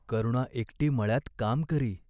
करुणा एकटी मळ्यात काम करी.